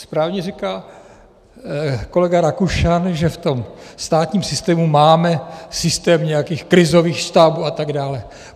Správně říká kolega Rakušan, že v tom státním systému máme systém nějakých krizových štábů atd.